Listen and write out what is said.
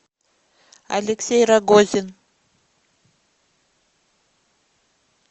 алексей рогозин